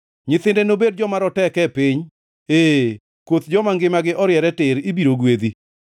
Nyithinde nobed joma roteke e piny; ee, koth joma ngimagi oriere tir ibiro gwedhi.